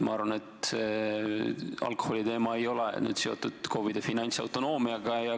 Ma arvan, et see alkoholiteema ei ole seotud KOV-ide finantsautonoomiaga.